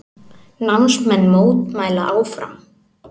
Námsmenn mótmæla áfram